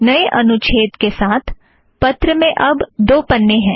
नए अनुच्छेद के साथ पत्र में अब दो पन्ने हैं